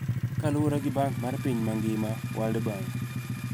Kaluwore gi Bank mar Piny mangima (World Bank).